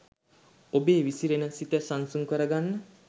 ඔබේ විසිරෙන සිත සන්සුන් කරගන්න.